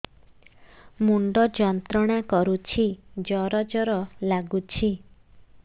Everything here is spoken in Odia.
ମୁଣ୍ଡ ଯନ୍ତ୍ରଣା କରୁଛି ଜର ଜର ଲାଗୁଛି